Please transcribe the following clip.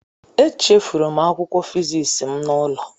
Echefuru m akwụkwọ fịzịksi m n'ụlọ.